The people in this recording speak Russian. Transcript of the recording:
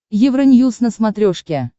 евроньюз на смотрешке